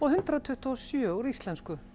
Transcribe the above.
hundrað tuttugu og sjö úr íslensku